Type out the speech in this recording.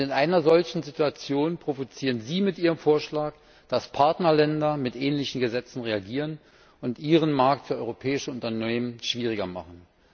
Und in einer solchen Situation provozieren Sie mit Ihrem Vorschlag, dass Partnerländer mit ähnlichen Gesetzen reagieren und ihren Markt für europäische Unternehmen schwieriger machen.